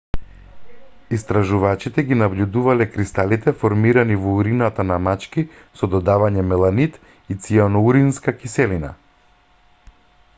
истражувачите ги набљудувале кристалите формирани во урината на мачки со додавање меланид и цијаноуринска киселина